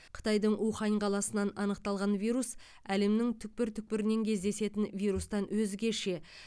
қытайдың ухань қаласынан анықталған вирус әлемнің түкпір түкпірінен кездесетін вирустан өзгеше